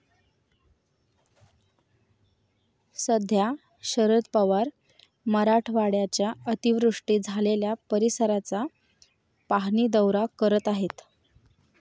सध्या शरद पवार मराठवाड्याच्या अतिवृष्टी झालेल्या परिसराचा पाहणी दौरा करत आहेत.